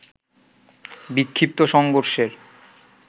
বিক্ষিপ্ত সংঘর্ষের